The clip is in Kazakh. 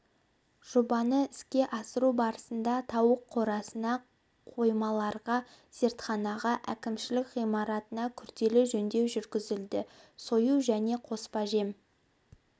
жобаны іске асыру барысында тауық қорасына қоймаларға зертханаға әкімшілік ғимаратына күрделі жөндеу жүргізілді сою және қоспажем